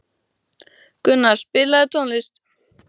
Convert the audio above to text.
Gunnar, spilaðu tónlist.